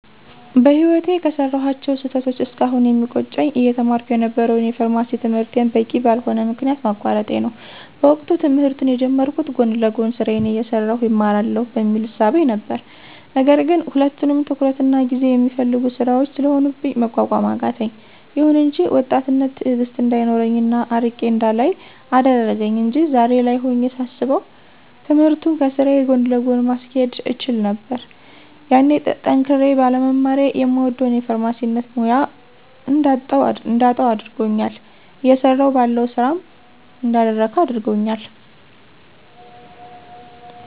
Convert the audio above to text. በህይወቴ ከሰራኋቸው ስህተቶች እስካሁን የሚቆጨኝ አየተማርኩ የነበረውን የፋርማሲ ትምህርቴን በቂ በልሆነ ምክንያት ማቋረጤ ነው። በወቅቱ ትምህርቱን የጀመርኩት ጎን ለጎን ስራዬን አየሠራሁ እማረዋለሁ በሚል እሳቤ ነበር ነገር ግን ሁለቱም ትኩረትና ጊዜ የሚፈልጉ ስራዎች ስለሆኑብኝ መቋቋም አቃተኝ። ይሁን እንጂ ወጣትነት ትእግስት እንዳይኖረኝ እና አርቄ እንዳላይ አደረገኝ አንጂ ዛሬ ላይ ሆኜ ሳስበው ትምህርቱንም ከስራዬ ጎን ለጎን ማስኬድ እችል ነበር። ያኔ ጠንክሬ ባለመማሬ የምወደውን የፋርማሲነት ሙያ እንዳጣው አድርጎኛል እየሰራሁ ባለው ስራም እንዳልረካ አድርጎኛል።